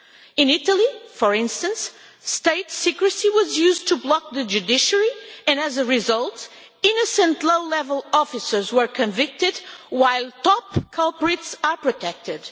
In Italy, for instance, state secrecy was used to block the judiciary and, as a result, innocent, low-level officers were convicted, while top culprits are protected.